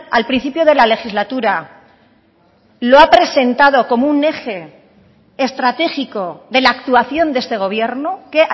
al principio de la legislatura lo ha presentado como un eje estratégico de la actuación de este gobierno qué